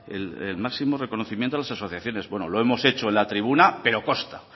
el máximo reconocimiento a las asociaciones bueno lo hemos hecho en la tribuna pero consta